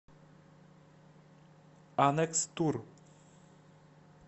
анекс тур